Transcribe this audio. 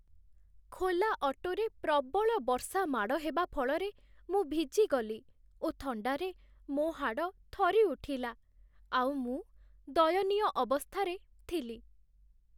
ଖୋଲା ଅଟୋରେ ପ୍ରବଳ ବର୍ଷା ମାଡ଼ ହେବା ଫଳରେ ମୁଁ ଭିଜିଗଲି ଓ ଥଣ୍ଡାରେ ମୋ ହାଡ଼ ଥରି ଉଠିଲା, ଆଉ ମୁଁ ଦୟନୀୟ ଅବସ୍ଥାରେ ଥିଲି।